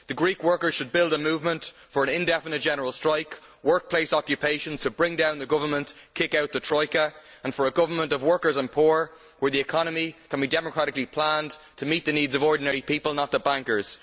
The Greek workers should build a movement for an indefinite general strike and workplace occupations to bring down the Government and kick out the troika, and for a government of workers and poor, where the economy can be democratically planned to meet the needs of ordinary people, not the bankers.